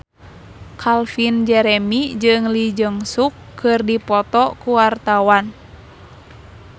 Calvin Jeremy jeung Lee Jeong Suk keur dipoto ku wartawan